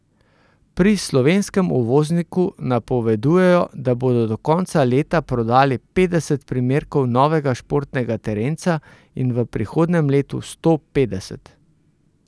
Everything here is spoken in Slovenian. Pri slovenskem uvozniku napovedujejo, da bodo do konca leta prodali petdeset primerkov novega športnega terenca in v prihodnjem letu sto petdeset.